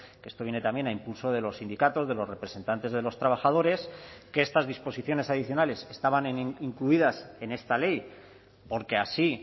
que esto viene también a impulso de los sindicatos de los representantes de los trabajadores que estas disposiciones adicionales estaban incluidas en esta ley porque así